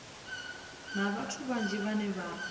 na vhathu vhanzhi vhane vha